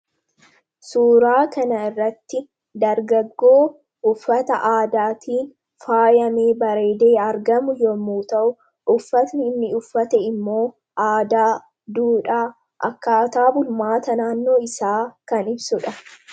suuraa kana irratti dargaggoo uffata aadaatiin faayamee bareedee argamu yommuu ta'u uffatni inni uffate immoo ,aadaa duudha akkaataa bulmaata naannoo isaa kan ibsudha.